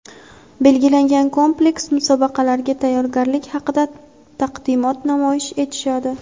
belgilangan kompleks musobaqalarga tayyorgarlik haqida taqdimot namoyish etishadi.